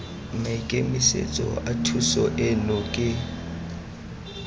maikemisetso a thuso eno ke